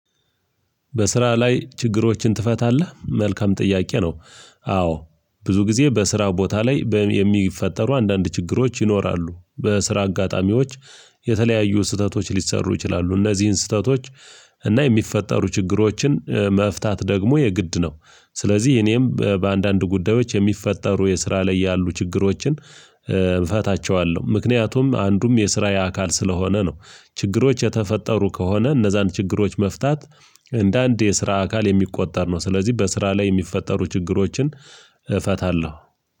በስራ ላይ ችግሮችን ትፈታለህ? መልካም ጥያቄ ነው። አዎ ብዙ ጊዜ በስራው ቦታ ላይ በሚ በየሚፈጠሩ አንዳንድ ችግሮች ይኖራሉ በስራ አጋጣሚዎች የተለያዩ ስህተቶች ሊሰሩ ይችላሉ። እነዚህን ስህተቶች እና የሚፈጠሩ ችግሮችን መፍታት ደግሞ የግድ ነው። ስለዚህ እኔም በአንዳንድ ጉዳዮች የሚፈጠሩ የስራ ላይ ያሉ ችግሮችን እፈታቸዋለሁ ምክንያቱም አንዱም የስራዬ አካል ስለሆነ ነው። ችግሮች የተፈጠሩ ከሆነ እነዛን ችግሮች መፍታት እንደ አንድ የስራ አካል የሚቆጠር ነው። ስለዚህ በስራ ላይ የሚፈጠሩ ችግሮችን እፈታለሁ።